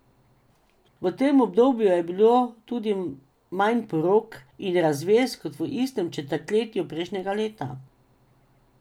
V tem obdobju je bilo tudi manj porok in razvez kot v istem četrtletju prejšnjega leta.